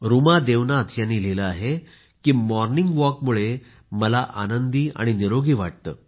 रुमा देवनाथ यांनी लिहिले आहे मॉर्निंग वॉकमुळे मला आनंदी आणि निरोगी वाटते